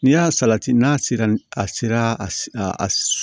N'i y'a salati n'a sera a sera a